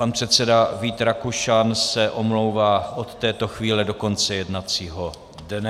Pan předseda Vít Rakušan se omlouvá od této chvíle do konce jednacího dne.